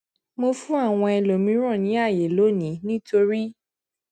mo fún àwọn ẹlòmíràn ní àyè lónìí nítorí